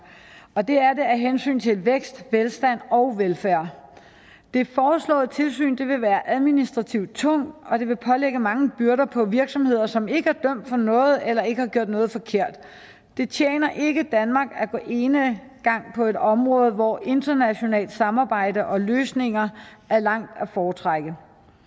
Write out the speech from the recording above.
og det er det af hensyn til vækst velstand og velfærd det foreslåede tilsyn vil være administrativt tungt og det vil lægge mange byrder på virksomheder som ikke er dømt for noget eller ikke har gjort noget forkert det tjener ikke danmark at gå enegang på et område hvor internationalt samarbejde og løsninger er langt at foretrække